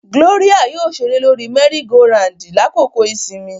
Gloria yoo ṣere lori mẹri-go-randi lakoko isinmi.